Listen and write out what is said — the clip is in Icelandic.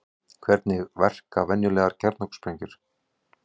Hvernig verka venjulegar kjarnorkusprengjur?